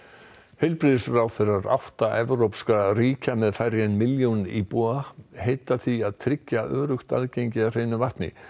heilbrigðisráðherrar átta evrópskra smáríkja með færri en milljón íbúa heita því að tryggja öruggt aðgengi að hreinu vatni